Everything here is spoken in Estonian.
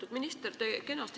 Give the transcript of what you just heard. Lugupeetud minister!